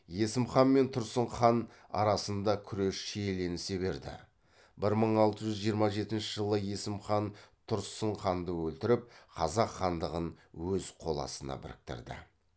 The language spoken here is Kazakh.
есім хан мен тұрсын хан арасында күрес шиеленісе берді бір мың алты жүз жиырма жетінші жылы есім хан тұрсын ханды өлтіріп қазақ хандығын өз қол астына біріктірді